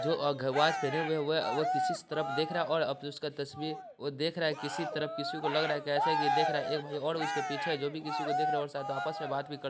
जो एक वॉच पहने हुए है वो किसी तरफ देख रहा है और अब जो उसका तस्वीर वो देख रहा किसी तरफ किसी को लग रहा है ऐसा की देख रहा है एक भाई और उसके पीछे जो भी किसी को देख रहा है शायद आपस में बात भी कर --